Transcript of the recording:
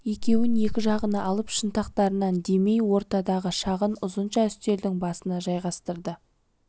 екеуін екі жағына алып шынтақтарынан демей ортадағы шағын ұзынша үстелдің басына жайғастырды